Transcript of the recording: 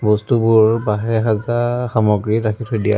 বস্তুবোৰৰ বাঁহেৰে সাজা সামগ্ৰী ৰাখি থৈ দিয়া আছ--